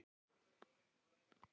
Fyrsti vefþjónn heims.